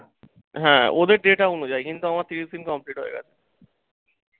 হ্যাঁ, ওদের data অনুযায়ী কিন্তু আমার তিরিশ দিন complete হয়ে গেছে।